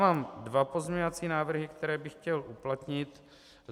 Mám dvě pozměňovací návrhy, které bych chtěl uplatnit.